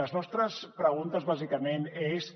la nostra pregunta bàsicament és